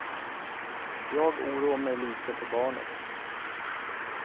Jag oroar mig lite för barnet.